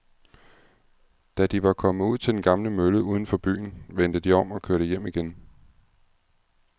Da de var kommet ud til den gamle mølle uden for byen, vendte de om og kørte hjem igen.